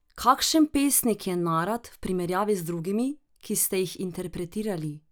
Kakšen pesnik je Narat v primerjavi z drugimi, ki ste jih interpretirali?